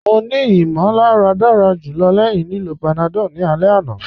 Mọ̀ ní ìmọ̀làrà dára julọ̀ lẹ́ẹ̀hin lìlọ́ panadol ni alẹ̀ àná.